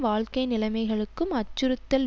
வாழ்க்கை நிலைமைகளுக்கும் அச்சுறுத்தல்